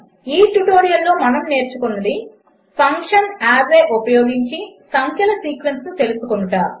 1 ఈ ట్యుటోరియల్లో మనము నేర్చుకున్నది 2 ఫంక్షన్ అర్రే ఉపయోగించి సంఖ్యల సీక్వెన్స్ను తెలుపుట